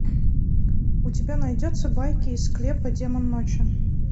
у тебя найдется байки из склепа демон ночи